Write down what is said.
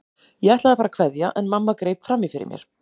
Ég ætlaði að fara að kveðja en mamma greip fram í fyrir mér.